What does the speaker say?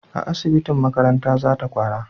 a asibitin makaranta za ta kwana